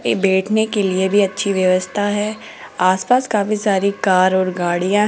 ये बैठने के लिए भी अच्छी व्यवस्था है आस पास काफ़ी सारी कार और गाड़ियां--